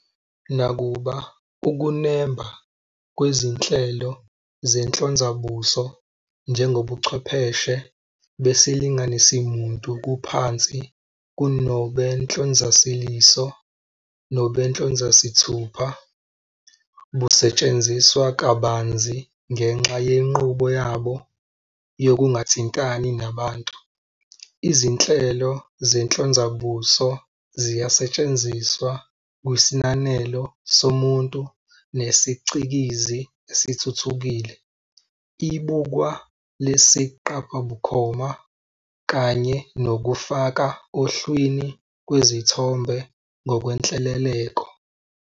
Nakuba ukunemba kwezinhlelo zenhlonzabuso njengobuchwepheshe besilinganisimuntu kuphansi kunobenhlonzaliso "iris recognition" nobenhlonzazithupha "fingerprint recognition", busethsenziswa kabanzi ngenxa yenqubo yabo yokungathintani nabantu. Izinhlelo zenhlonzabuso ziyasetshrnziswa kwisinanelo somuntu-nesicikizi esithuthukile, ibukwa lesiqaphabukhoma "surveillance video" kanye nokufaka ohlwini kwezithombe ngokwenhleleleko.